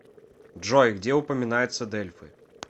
джой где упоминается дельфы